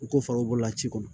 U ko fara u bolola ci kɔnɔ